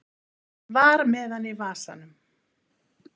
Var með hann í vasanum